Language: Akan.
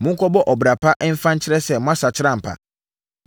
Monkɔbɔ ɔbra pa mfa nkyerɛ sɛ moasakyera ampa.